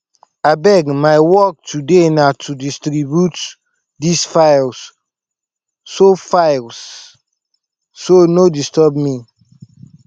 abeg my work today na to distribute dis files so files so no disturb me